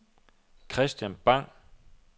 Kristian Bang